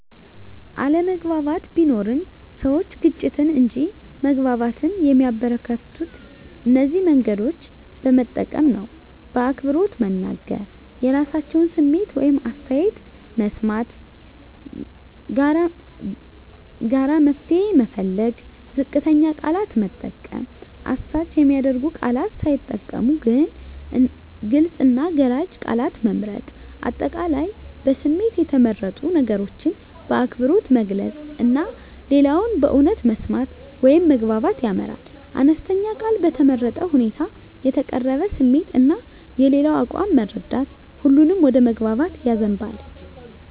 አለመግባባት ቢኖርም፣ ሰዎች ግጭትን እንጂ መግባባትን የሚያበረከቱት እነዚህን መንገዶች በመጠቀም ነው በአክብሮት መናገር – የራሳቸውን ስሜት ወይም አስተያየት መስማት ጋራ መፍትሄ መፈለግ ዝቅተኛ ቃላት መጠቀም – አሳች የሚያደርጉ ቃላት ሳይጠቀሙ ግልጽ እና ገላጭ ቃላት መምረጥ። አጠቃላይ በስሜት የተመረጡ ነገሮችን በአክብሮት መግለጽ እና ሌላውን በእውነት መስማት ወደ መግባባት ያመራል። አነስተኛ ቃል በተመረጠ ሁኔታ የተቀረበ ስሜት እና የሌላው አቋም መረዳት ሁሉንም ወደ መግባባት ያዘንባል።